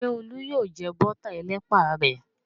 Ṣé Olú yóò jẹ bọ́tà ẹlẹ́pà rẹ̀?